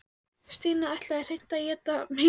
Stína ætlaði hreint að éta mig lifandi.